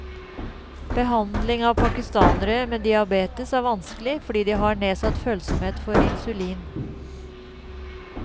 Behandling av pakistanere med diabetes er vanskelig, fordi de har nedsatt følsomhet for insulin.